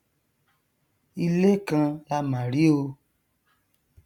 ilé kan lá mà rí o